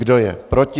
Kdo je proti?